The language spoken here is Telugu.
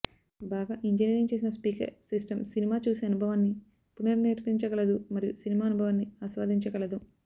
బాగా ఇంజనీరింగ్ చేసిన స్పీకర్ సిస్టమ్ సినిమా చూసే అనుభవాన్ని పునర్నిర్వచించగలదు మరియు సినిమా అనుభవాన్ని ఆస్వాదించగలదు